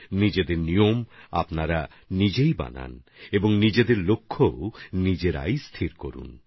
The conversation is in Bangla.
নিজেদের পন্থাপদ্ধতি নিজেরাই তৈরি করুন এবং নিজেদের লক্ষ্যমাত্রাও নিজেরাই ঠিক করুন